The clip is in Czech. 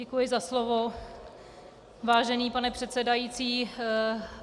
Děkuji za slovo, vážený pane předsedající.